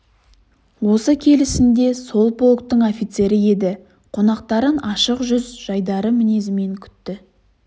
осы келісінде сол полктың офицері еді қонақтарын ашық жүз жайдары мінезімен күтті